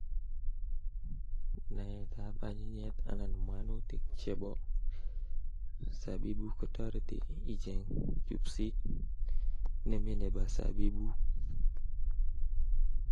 Naet ab anyinyiet anan mwanutik chebo sabibuk kotareti iche'ng chupsit nemye nebo sabibuk.